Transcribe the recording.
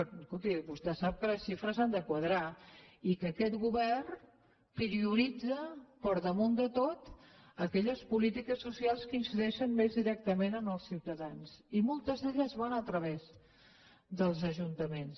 escolti vostè sap que les xifres han de quadrar i que aquest govern prioritza per damunt de tot aquelles polítiques socials que incideixen més directament en els ciutadans i moltes d’elles van a través dels ajuntaments